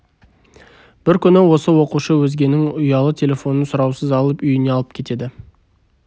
бір күні осы оқушы өзгенің ұялы телефонын сұраусыз алып үйіне алып кетеді